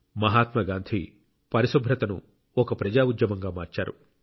మహాత్మా గాంధీ పరిశుభ్రతను ఒక ప్రజా ఉద్యమంగా మార్చారు